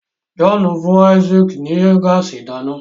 John fún Isaac ní gáàsì ìdáná.